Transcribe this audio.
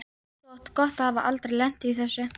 Þú átt gott að hafa aldrei lent í þessu.